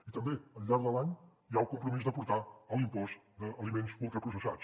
i també al llarg de l’any hi ha el compromís de portar l’impost d’aliments ultraprocessats